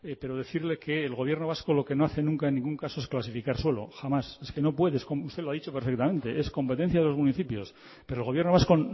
pero decirle que el gobierno vasco lo que no hace nunca en ningún caso es clasificar solo jamás es que no puedes usted lo ha dicho perfectamente es competencia de los municipios pero el gobierno vasco